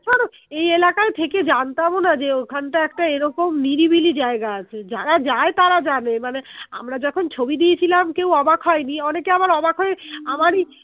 এই এলাকায় থেকে জানতামও না যে ওখানটায় একটা এরকম নিরিবিলি জায়গা আছে যারা যায় তারা জানে মানে আমরা যখন ছবি দিয়েছিলাম কেউ অবাক হয়নি অনেকে আবার অবাক হয়ে আমারই